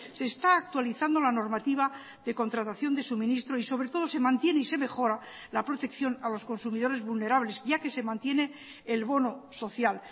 se está actualizando la normativa de contratación de suministro y sobre todo se mantiene y se mejora la protección a los consumidores vulnerables ya que se mantiene el bono social